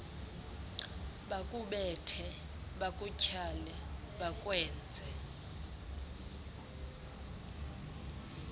bakubethe bakutyhale bakwenze